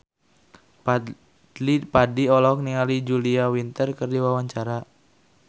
Fadly Padi olohok ningali Julia Winter keur diwawancara